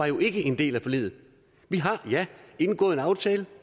jo ikke en del af forliget vi har ja indgået en aftale